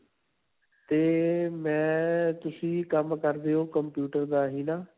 'ਤੇ ਮੈਂ ਤੁਸੀਂ ਕੰਮ ਕਰਦੇ ਹੋ computer ਦਾ ਹੀ ਨਾ?